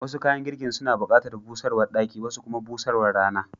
Wasu kayan girkin suna bukatar busarwar daki, wasu kuma busarwar Rana.